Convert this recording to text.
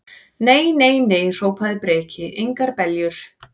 Nei, nei, nei, hrópaði Breki, engar beljur.